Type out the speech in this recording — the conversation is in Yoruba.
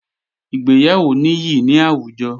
Ìgbéyàwó níyì ní àwùjọ